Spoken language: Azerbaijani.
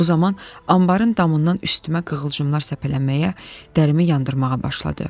Bu zaman anbarın damından üstümə qığılcımlar səpələnməyə, dərimi yandırmağa başladı.